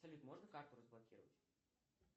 салют можно карту разблокировать